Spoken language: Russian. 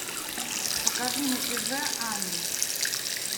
покажи на тв ани